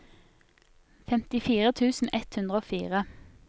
femtifire tusen ett hundre og fire